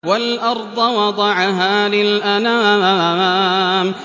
وَالْأَرْضَ وَضَعَهَا لِلْأَنَامِ